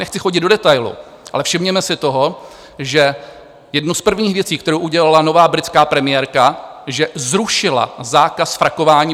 Nechci chodit do detailů, ale všimněme si toho, že jednu z prvních věcí, kterou udělala nová britská premiérka, že zrušila zákaz frakování.